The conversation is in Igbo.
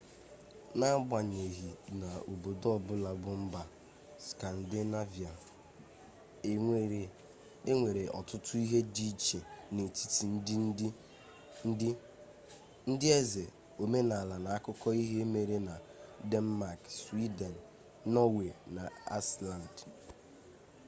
n'agbanyeghị na obodo ọbụla bụ 'mba skandinevia' enwere ọtụtụ ihe dị iche n'etiti ndị ndị eze omenala na akụkọ ihe mere na denmak swiden nọọwe na aisland